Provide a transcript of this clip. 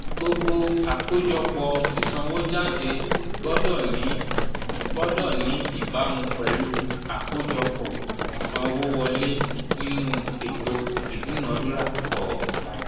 gbogbo àkójọpọ̀ ìsànwójáde gbọ́dọ̀ ní gbọ́dọ̀ ní ìbámu pẹ̀lú àkójọpọ̀ ìsanwówọlé nínú ètò ìdúnadúrà kọ̀ọ̀kan